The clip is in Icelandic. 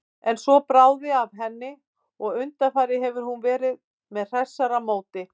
En svo bráði af henni og undanfarið hefur hún verið með hressara móti.